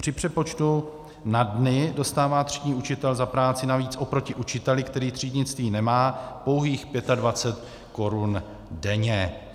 Při přepočtu na dny dostává třídní učitel za práci navíc oproti učiteli, který třídnictví nemá, pouhých 25 Kč denně.